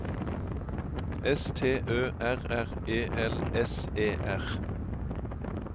S T Ø R R E L S E R